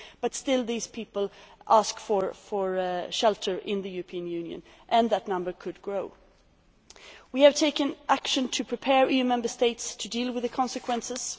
But nevertheless these people are asking for shelter in the European Union, and that number could grow. We have taken action to prepare EU Member States to deal with the consequences.